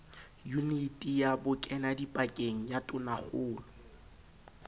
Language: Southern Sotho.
yuniti ya bokenadipakeng ya tonakgolo